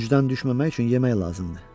Gücdən düşməmək üçün yemək lazımdır.